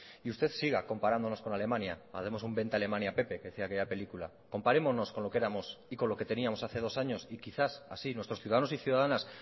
y usted siga comparándonos con alemania haremos un vente a alemania pepe que decía aquella película comparémonos con lo que éramos y con lo que teníamos hace dos años y quizás así nuestros ciudadanos y ciudadanas